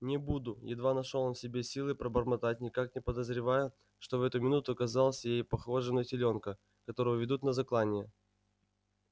не буду едва нашёл он в себе силы пробормотать никак не подозревая что в эту минуту казался ей похожим на телёнка которого ведут на заклание